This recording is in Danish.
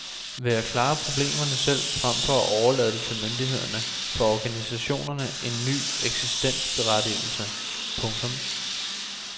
Ved at klare problemerne selv frem for at overlade det til myndighederne får organisationerne en ny eksistensberettigelse. punktum